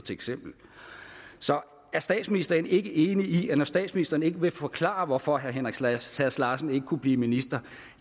er statsministeren ikke enig i at når statsministeren ikke vil forklare hvorfor herre henrik sass sass larsen ikke kunne blive minister